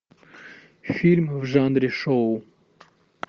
фильм в жанре шоу